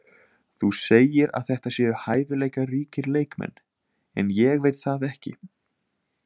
Þú segir að þetta séu hæfileikaríkir leikmenn en ég veit það ekki.